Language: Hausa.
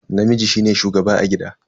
Namiji shine shugaba a gida.